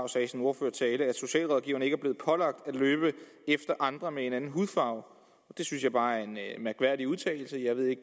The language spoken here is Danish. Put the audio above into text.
sagde i sin ordførertale at socialrådgiverne ikke er blevet pålagt at løbe efter andre med en anden hudfarve det synes jeg bare er en mærkværdig udtalelse jeg ved ikke